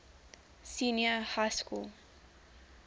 senior high school